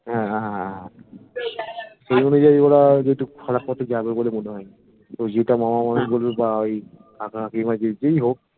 হ্যা হ্যা সেই অনুযায়ীই ওরা যেটুক খারাপ পথে যাবে বলে মনে হয়না যেটা মামাবাড়ি বলবে বা ওই কাকা কাকিমা যেই হোক